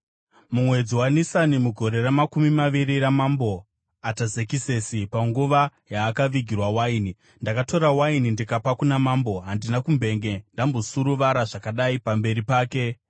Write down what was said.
Mumwedzi waNisani mugore ramakumi maviri raMambo Atazekisesi, panguva yaakavigirwa waini, ndakatora waini ndikapa kuna mambo. Handina kumbenge ndambosuruvara zvakadai pamberi pake.